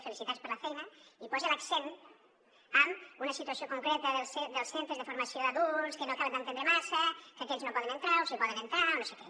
felicitats per la feina i posa l’accent en una situació concreta dels centres de formació d’adults que no he acabat d’entendre massa que aquells no hi poden entrar o sí que hi poden entrar o no sé què